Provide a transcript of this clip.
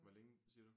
Hvor længe siger du?